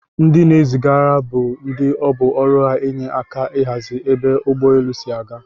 Ndi zigara bu ndi ọbụ ọrụ ha enye aka ahazi ebe ụgbọ elụ si aga.